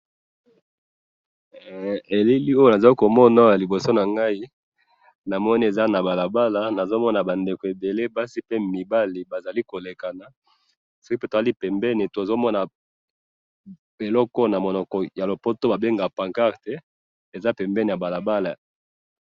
Na moni pancarte pembeni ya balabala na batu ebele bazo leka.